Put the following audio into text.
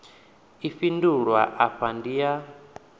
i fhindulwa afha ndi ya